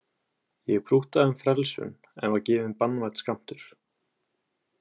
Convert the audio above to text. Ég prúttaði um frelsun en var gefinn banvænn skammtur.